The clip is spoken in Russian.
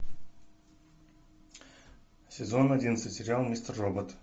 сезон одиннадцать сериал мистер робот